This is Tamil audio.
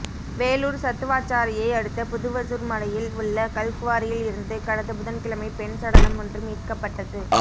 வேலூர் சத்துவாச்சாரியை அடுத்த புதுவசூர் மலையில் உள்ள கல்குவாரியில் இருந்து கடந்த புதன் கிழமை பெண் சடலம் ஒன்று மீட்கப்பட்டது